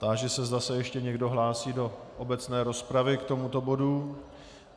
Táži se, zda se ještě někdo hlásí do obecné rozpravy k tomuto bodu.